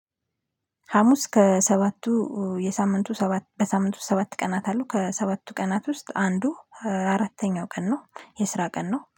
ሀሙስ ከሰባቱ የሳምንቱ ሰባት በሳምንቱ ሰባት ቀናት አሉ ከሰባቱ ቀናት ውስጥ አንዱ አራተኛው ቀን ነው። የስራ ቀን ነው